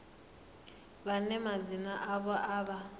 vhane madzina avho a vha